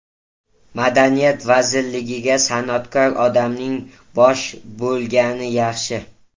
Madaniyat vazirligiga san’atkor odamning bosh bo‘lgani yaxshi.